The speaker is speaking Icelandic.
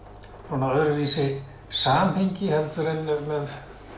öðruvísi samhengi heldur en með